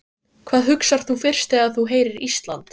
Hvað hugsar þú fyrst þegar þú heyrir Ísland?